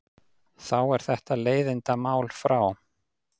Þá er þetta leiðindamál frá.